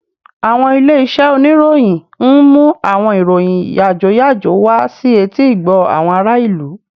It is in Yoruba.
Àwọn ilé-iṣẹ́ oníròyìn ń mú àwọn ìròyìn yàjóyàjó wá sí etí-ìgbọ́ àwọn ará ìlú